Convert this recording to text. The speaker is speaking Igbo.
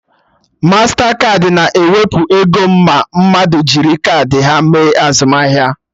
Mastakaadị na-ewepụ ego ma mmadụ jiri kaadị ha mee azụmahịa